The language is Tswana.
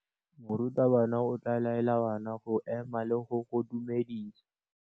Morutabana o tla laela bana go ema le go go dumedisa.